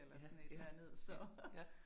Ja, ja, ja, ja